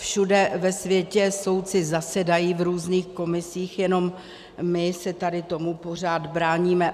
Všude ve světě soudci zasedají v různých komisích, jenom my se tady tomu pořád bráníme.